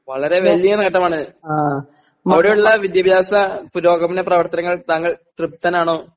വളരെ വല്ല്യ നേട്ടമാണ് അവിടെയുള്ള വിദ്യാഭ്യാസ പുരോഗമന പ്രവർത്തനങ്ങൾ താങ്കൾ തൃപ്തനാണോ?